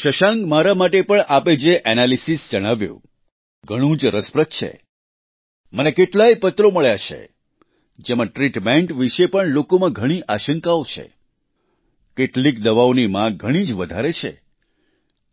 શશાંક મારા માટે પણ આપે જે એનાલિસીસ જણાવ્યું ઘણું જ રસપ્રદ છે મને કેટલાય પત્રો મળ્યા છે જેમાં ટ્રીટમેન્ટ વિશે પણ લોકોમાં ઘણી આશંકાઓ છે કેટલીક દવાઓની માગ ઘણી જ વધારે છે